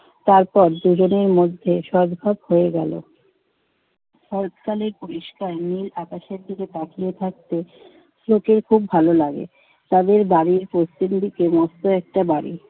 তারপর দুজনের মধ্যে সদ্ভাব হয়ে গেল। শরৎকালে পরিষ্কার নীল আকাশের দিকে তাকিয়ে থাকতে স্লোকের খুব ভালো লাগে। তাদের বাড়ির প্রত্যেকেরই কি মস্ত একটা বাড়ি।